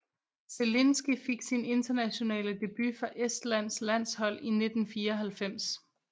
Zelinski fik sin internationale debut for Estlands landshold i 1994